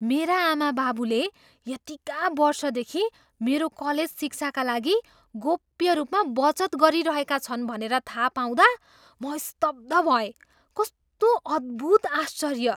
मेरा आमाबाबुले यतिका वर्षदेखि मेरो कलेज शिक्षाका लागि गोप्य रूपमा बचत गरिरहेका छन् भनेर थाहा पाउँदा म स्तब्ध भएँ। कस्तो अद्भुत आश्चर्य!